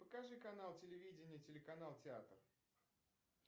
покажи канал телевидение телеканал театр